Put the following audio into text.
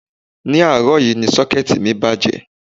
Ní àárọ̀ yìí ni Ṣọ́kẹ́ẹ̀tì mi bàjẹ́